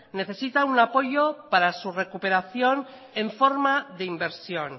necesita un apoyo para su recuperación en forma de inversión